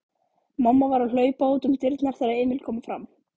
Mamma var að hlaupa útum dyrnar þegar Emil kom fram.